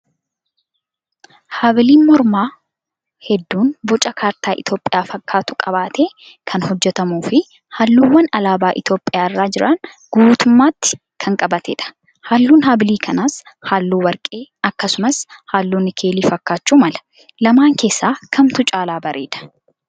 Habiliin mormaa hedduun boca kaartaa Itoophiyaa fakkaatu qabatee kan hojjatamuu fi halluuwwan alaabaa Itoophiyaarra jiran guutummaatti kan qabatedha. Halluun habilii kanaas halluu warqee akkasumas halluu nikeelii fakkaachuu mala. Lamaan keessaa kamtu caalaa bareedaa?